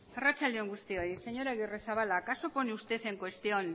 arratsalde on guztioi señor agirrezabala acaso pone usted en cuestión